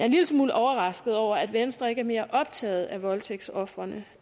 en lille smule overrasket over at venstre ikke er mere optaget af voldtægtsofrene